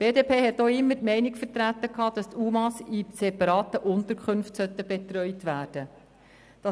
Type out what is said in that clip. Die BDP hat auch immer die Meinung vertreten, dass die UMA in separaten Unterkünften betreut werden sollen.